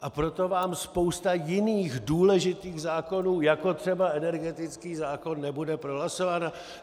A proto vám spousta jiných, důležitých zákonů, jako třeba energetický zákon, nebude prohlasována?